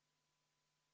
V a h e a e g